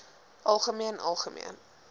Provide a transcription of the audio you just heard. algemeen algemeen